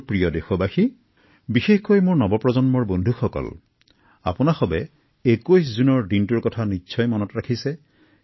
মোৰ মৰমৰ দেশবাসী বিশেষকৈ যুৱ প্ৰজন্মৰ বন্ধুবান্ধৱীসকলক মই কব বিচাৰে যে আপোনালোকে এতিয়াৰ পৰা ২১ জুনতো ভালকৈ মনত ৰাখিব